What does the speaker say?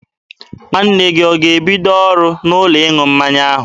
Nwanne gị ọ ga-ebido ọrụ n'ụlọ ịṅụ mmanya ahụ?